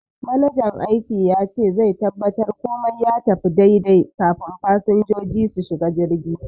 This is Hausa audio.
Manajan aiki yace zai tabbatar komai ya tafi daidai kafun fasinjoji su shiga jirgi.